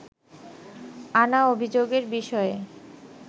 আনা অভিযোগের বিষয়ে